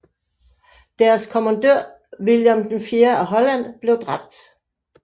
Deres kommandør William IV af Holland blev dræbt